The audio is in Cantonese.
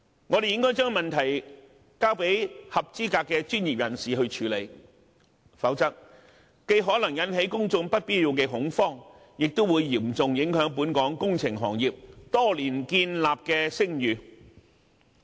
我們應該將問題交由合資格的專業人士處理，否則，既可能引起公眾不必要的恐慌，亦會嚴重影響本港工程行業多年來建立的聲譽。